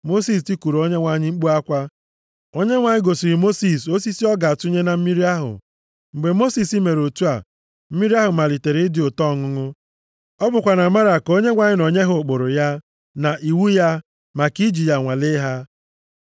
Mosis tikuru Onyenwe anyị mkpu akwa. Onyenwe anyị gosiri Mosis osisi ọ ga-atụnye nʼime mmiri ahụ. Mgbe Mosis mere otu a, mmiri ahụ malitere ịdị ụtọ ọṅụṅụ. Ọ bụkwa na Mara ka Onyenwe anyị nọ nye ha ụkpụrụ ya na iwu ya maka iji ya nwalee ha.